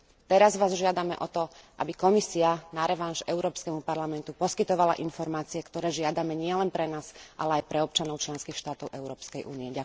Teraz Vás žiadame o to, aby Komisia na revanš Európskemu parlamentu poskytovala informácie, ktoré žiadame nielen pre nás, ale aj pre občanov členských štátov Európskej únie.